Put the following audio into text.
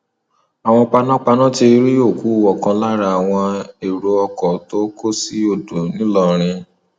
àwọn panápaná ti rí òkú ọkan lára àwọn èrò ọkọ tó kó sí odò ńìlọrin